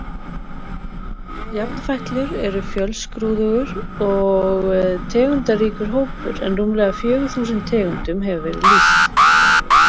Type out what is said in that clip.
Jafnfætlur eru fjölskrúðugur og tegundaríkur hópur en rúmlega fjögur þúsund tegundum hefur verið lýst.